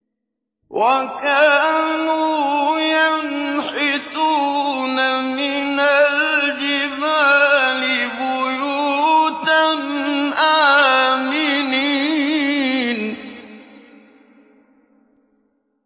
وَكَانُوا يَنْحِتُونَ مِنَ الْجِبَالِ بُيُوتًا آمِنِينَ